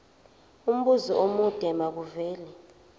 umbuzo omude makuvele